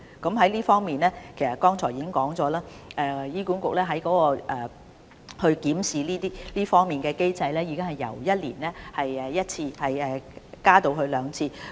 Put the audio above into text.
在這方面，其實我剛才已經指出，醫管局檢視這方面的機制已經由每年一次增加至兩次。